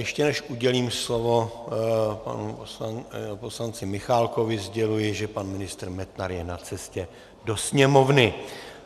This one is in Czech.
Ještě než udělím slovo panu poslanci Michálkovi, sděluji, že pan ministr Metnar je na cestě do Sněmovny.